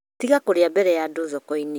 Tiga kũrĩa mbere ya andũ thoko-inĩ